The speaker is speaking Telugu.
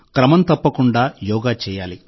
క్రమం తప్పకుండా యోగా చేయాలి